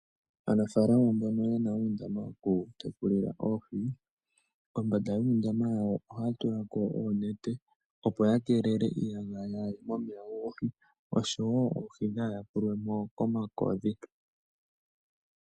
Aanafalama mbono yena uundama wokutekulila oohi, kombanda yuundama wawo ohaya tula ko oonete opo yakeelele iiyagaya yaaye momeya goohi, oshowo oohi dhaa yakulwe mo komakodhi.